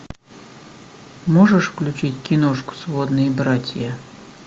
можешь включить киношку сводные братья